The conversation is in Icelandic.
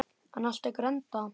En allt tekur enda.